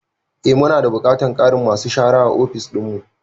Eh. mu na da buƙatar ƙarin masu shara a ofis dinmu.